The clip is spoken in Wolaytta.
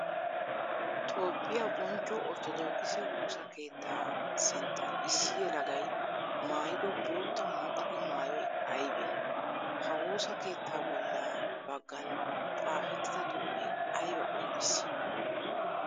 Toophphiyaa bonchcho orttodookisse woosa keetta sinttan issi yelagay maayido bootta muqaqe maayoy aybbe? Ha woosa keettaa bolla bagan xaafettida xuufe aybba qonccissi?